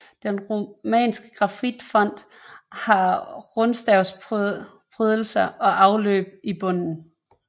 Den romanske granitfont har rundstavsprydelser og afløb i bunden